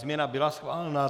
Změna byla schválena.